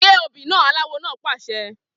Gé obì naa! Aláwo náà pàṣẹ.